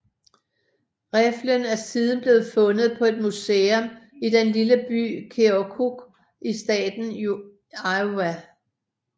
Riffelen er siden blevet fundet på et museum i den lille by Keokuk i staten Iowa